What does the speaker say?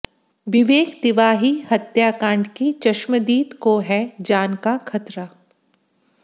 विवेक तिवाही हत्याकांड की चश्मदीद को है जान का ख़तरा